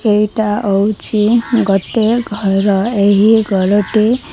ଏଇଟା ଅଉଛି ଗୋଟେ ଘର ଏହି ଘରଟି।